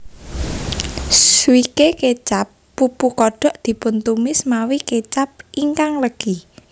Swike kecap pupu kodok dipuntumis mawi kecap ingkang legi